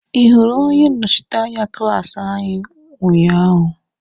Ị hụrụ onye nnọchiteanya klaasi anyị unyaahụ?